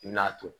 N'a to